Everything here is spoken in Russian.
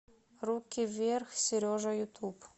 руки вверх сережа ютуб